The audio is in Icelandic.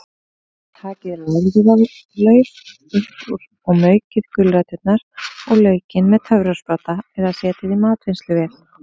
Takið lárviðarlaufið upp úr og maukið gulræturnar og laukinn með töfrasprota eða setjið í matvinnsluvél.